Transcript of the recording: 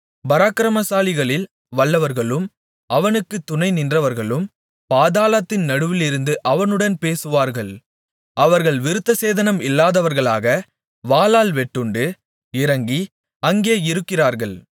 பராக்கிரமசாலிகளில் வல்லவர்களும் அவனுக்குத் துணைநின்றவர்களும் பாதாளத்தின் நடுவிலிருந்து அவனுடன் பேசுவார்கள் அவர்கள் விருத்தசேதனம் இல்லாதவர்களாக வாளால் வெட்டுண்டு இறங்கி அங்கே இருக்கிறார்கள்